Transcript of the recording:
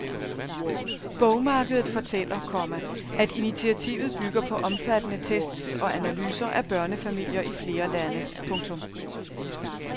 Bogmarkedet fortæller, komma at initiativet bygger på omfattende tests og analyser af børnefamilier i flere lande. punktum